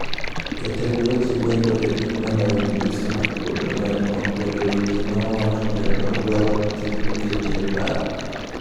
Jatend weche lendo e piny Malawi Migosi Mark Botomani okwedo weche ma owacho kendo odwaro ni kik oketie e paro.